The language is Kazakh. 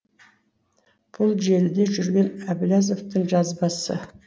бұл желіде жүрген әблязовтың жазбасы